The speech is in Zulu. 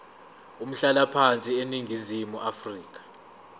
umhlalaphansi eningizimu afrika